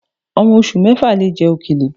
Ọmọ oṣù mẹ́fà lè jẹ òkèlè